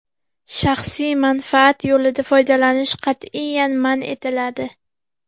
Shaxsiy manfaat yo‘lida foydalanish qat’iyan man etiladi.